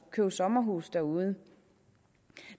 købe sommerhus derude